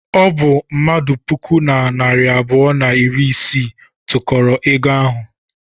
Ọ bụ mmadụ puku na narị abụọ na iri isii tụkọrọ ego ahụ.